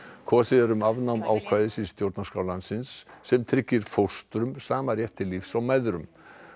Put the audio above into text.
kosið er um afnám ákvæðis í stjórnarskrá landsins sem tryggir fóstrum í sama rétt til lífs og mæðrum